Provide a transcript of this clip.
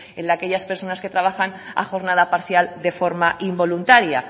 el de aquellas personas que trabajan a jornada parcial de forma involuntaria